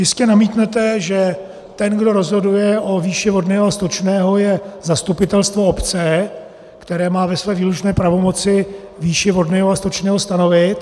Jistě namítnete, že ten, kdo rozhoduje o výši vodného a stočného, je zastupitelstvo obce, které má ve své výlučné pravomoci výši vodného a stočného stanovit.